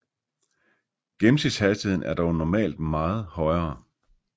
Gennemsnitshastigheden er dog normalt meget højere